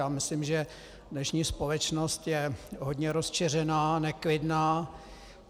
Já myslím, že dnešní společnost je hodně rozčeřená, neklidná.